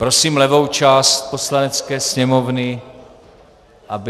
Prosím levou část Poslanecké sněmovny, aby...